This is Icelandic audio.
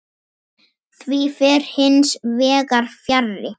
Því fer hins vegar fjarri.